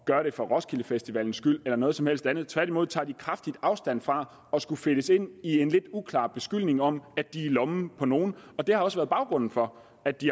gøre det for roskildefestivalens skyld eller noget som helst andet tværtimod tager de kraftig afstand fra at skulle fedtes ind i en lidt uklar beskyldning om at de er i lommen på nogen det har også været baggrunden for at de